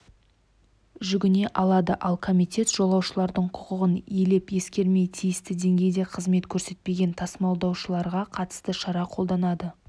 жүгіне алады ал комитет жолаушылардың құқығын елеп-ескермей тиісті деңгейде қызмет көрсетпеген тасымалдаушыларға қатысты шара қолданады